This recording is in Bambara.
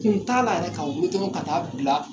Kun t'a la yɛrɛ ka wuli dɔrɔn ka taa bila.